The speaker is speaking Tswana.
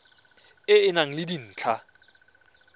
e e nang le dintlha